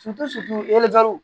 yali